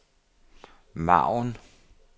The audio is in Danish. margen